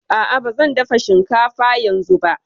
A'a, ba zan dafa shinkafa yanzu ba